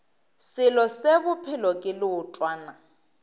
selo se bophelo ke leotwana